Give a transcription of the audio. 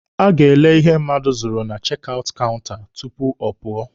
A ga-ele ihe mmadụ zụrụ na chek aụtụ kaụnta tupu ọ pụọ.